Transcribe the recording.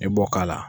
I b'o k'a la